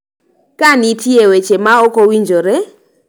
Ka nitie weche ma ok owinjore,